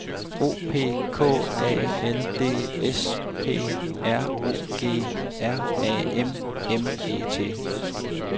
O P K A L D S P R O G R A M M E T